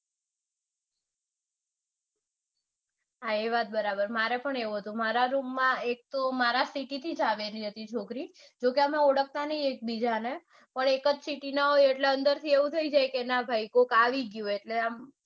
હા ઈ વાત બરાબર. મારે પણ એવું જ હતું મારા room માં મારી city થી જ આવેલી હતી છોકરી જોકે અમે ઓળખતા નઈ એકબીજાને પણ એક જ હોય એટલે થઇ જાય કે ના ભાઈ કોક આવી ગયું એમ